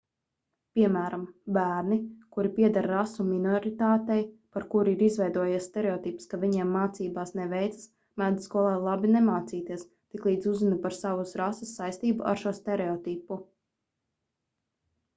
piemēram bērni kuri pieder rasu minoritātei par kuru ir izveidojies stereotips ka viņiem mācībās neveicas mēdz skolā labi nemācīties tiklīdz uzzina par savas rases saistību ar šo stereotipu